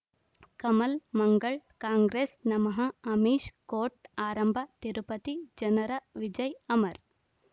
ಕಮಲ್ ಮಂಗಳ್ ಕಾಂಗ್ರೆಸ್ ನಮಃ ಅಮಿಷ್ ಕೋರ್ಟ್ ಆರಂಭ ತಿರುಪತಿ ಜನರ ವಿಜಯ್ ಅಮರ್